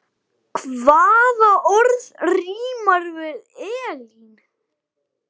Jú, það var það.